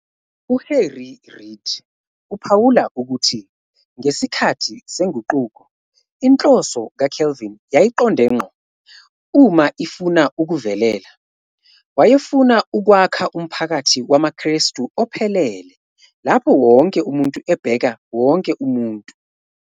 UHarry Reid uphawula ukuthi, ngesikhathi seNguquko, " inhloso kaCalvin yayiqonde ngqo, uma ifuna ukuvelela, wayefuna ukwakha umphakathi wamaKrestu ophelele lapho wonke umuntu ebheka wonke umuntu...